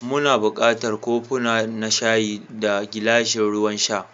Muna buƙatar kofuna na shayi, da gilashin ruwan sha.